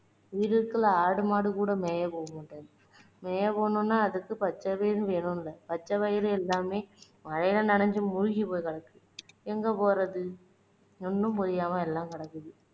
ஈரத்துல ஆடு மாடு கூட மேய போக மாட்டேங்குது மேய போகணும்னா அதுக்கு பச்சை பயிர் வேணும்ல பச்சை பயிரு எல்லாமே மழையில நனைஞ்சு மூழ்கி போய் கிடக்கு எங்க போறது ஒண்ணும் புரியாம எல்லாம் கிடக்குது